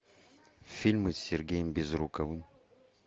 фильмы с сергеем безруковым